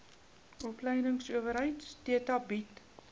opleidingsowerheid theta bied